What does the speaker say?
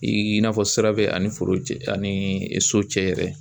I n'a fɔ sira bɛ ani foro cɛ ani so cɛ yɛrɛ